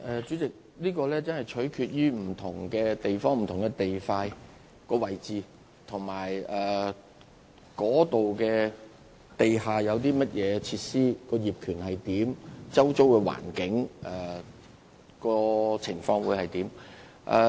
主席，這真的要取決於不同地點和不同地段的所在位置，以及該處有何地下設施、業權及周遭環境如何。